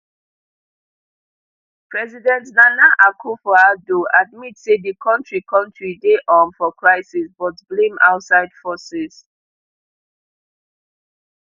president nana akufoaddo admit say di kontri kontri dey um for crisis but blame outside forces